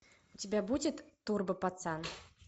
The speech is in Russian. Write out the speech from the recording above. у тебя будет турбо пацан